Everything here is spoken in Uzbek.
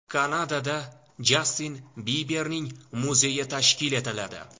Kanadada Jastin Biberning muzeyi tashkil etiladi.